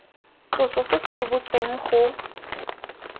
tloso se se rebotsweng go